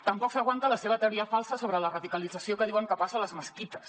tampoc s’aguanta la seva teoria falsa sobre la radicalització que diuen que passa a les mesquites